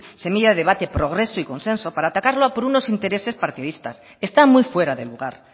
semilla de debate progreso y consenso para atacarlo por unos intereses partidistas está muy fuera de lugar